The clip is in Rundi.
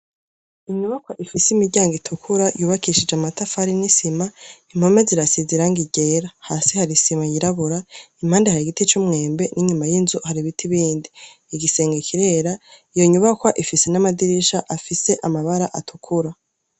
Inyubakwa ifise imiryango itukura yubakishijwe amatafari n'isima impome zirasize irangi ryera hasi har'isima yirabura impande hari igiti c'umwembe n'inyuma y'inzu hari ibiti bindi, igisenge kirera, iyo nyubakwa ifise n'amadirisha afise amabara atukura.